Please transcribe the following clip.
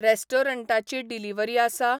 रेस्टॉरंटाची delivery आसा ?